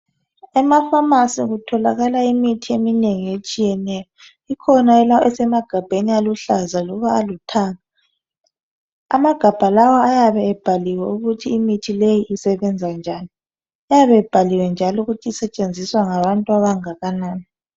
Emafamasi kutholakala imithi eminengi etshiyeneyo ikhona esemagabheni aluhlaza loba alithanga amagabha lawa ayabe ebhaliwe ukuthi imithi leyi isebenza njani ayabe ebhaliwe njalo ukuthi isetshenziswa ngabantu abangakanani.